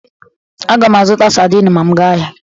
Aga m azụta sadin ma m gaa ahịa.